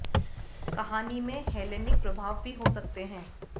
कहानी में हेलेनिक प्रभाव भी हो सकते हैं